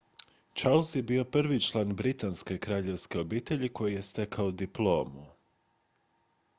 charles je bio prvi član britanske kraljevske obitelji koji je stekao diplomu